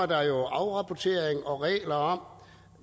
der jo afrapportering og regler om